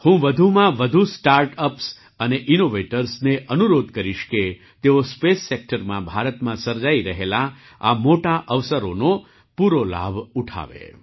હું વધુમાં વધુ સ્ટાર્ટ અપ્સ અને ઇનૉવેટર્સને અનુરોધ કરીશ કે તેઓ સ્પેસ સેક્ટરમાં ભારતમાં સર્જાઈ રહેલા આ મોટાં અવસરોનો પૂરો લાભ ઉઠાવે